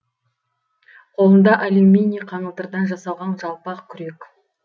қолында алюминий қаңылтырдан жасалған жалпақ күрек